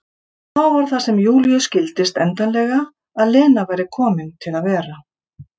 Og þá var það sem Júlíu skildist endanlega að Lena væri komin til að vera.